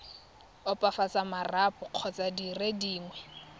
opafatsa marapo kgotsa dire dingwe